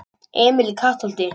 Emil í Kattholti